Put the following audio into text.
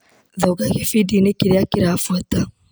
Thonga gĩbindinĩ kĩrĩa kĩrabuata .